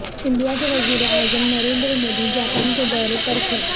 India کے وزیر اعظم نریندر مودی جاپان کے دورے پر ہیں